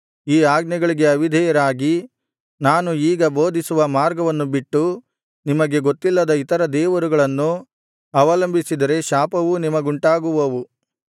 ಈ ಆಜ್ಞೆಗಳಿಗೆ ಅವಿಧೇಯರಾಗಿ ನಾನು ಈಗ ಬೋಧಿಸುವ ಮಾರ್ಗವನ್ನು ಬಿಟ್ಟು ನಿಮಗೆ ಗೊತ್ತಿಲ್ಲದ ಇತರ ದೇವರುಗಳನ್ನು ಅವಲಂಬಿಸಿದರೆ ಶಾಪವೂ ನಿಮಗುಂಟಾಗುವವು